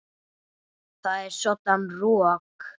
Það er svoddan rok.